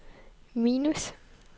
minus